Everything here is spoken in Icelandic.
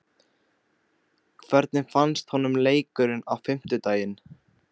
Hvernig fannst honum leikurinn á fimmtudaginn?